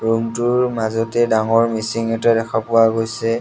ৰুমটোৰ মাজতে ডাঙৰ মিচিং এটা দেখা পোৱা গৈছে।